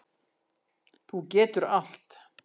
Þú getur allt.